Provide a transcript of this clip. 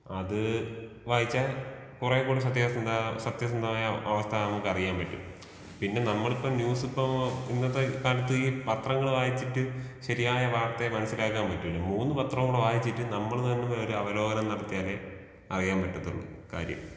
അത് വായിച്ച കൊറേ കൂടീം സത്യാസന്ധ സത്യസന്ധമായ അവസ്ഥ നമുക്ക് അറിയാൻ പറ്റും. പിന്നെ നമ്മളിപ്പം ന്യൂസിപ്പം ഇന്നത്തെ കാലത്ത് ഈ പത്രങ്ങള് വായിച്ചിട്ട് ശെരിയായ വാർത്തയെ മനസ്സിലാക്കാൻ പറ്റില്ല മൂന്ന് പത്രം കൂടീം വായിച്ചിട്ട് നമ്മള് തന്നെ ഒരവലോകനം നടത്തിയാലെ അറിയാൻ പറ്റത്തൊള്ളു കാര്യം.